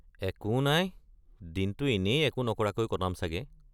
একো নাই, দিনটো এনেই একো নকৰাকৈ কটাম চাগে।